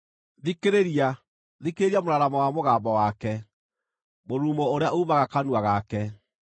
Thikĩrĩria! Thikĩrĩria mũraramo wa mũgambo wake, mũrurumo ũrĩa uumaga kanua gake.